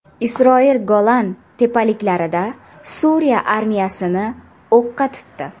Isroil Golan tepaliklarida Suriya armiyasini o‘qqa tutdi.